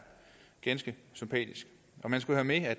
ganske sympatisk man skal have med at